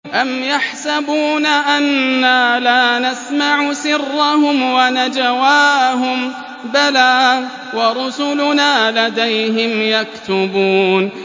أَمْ يَحْسَبُونَ أَنَّا لَا نَسْمَعُ سِرَّهُمْ وَنَجْوَاهُم ۚ بَلَىٰ وَرُسُلُنَا لَدَيْهِمْ يَكْتُبُونَ